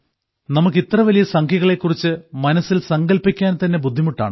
നമുക്ക് ഇത്രവലിയ സംഖ്യകളെ കുറിച്ചു മനസ്സിൽ സങ്കല്പിക്കാൻ തന്നെ ബുദ്ധിമുട്ടാണ്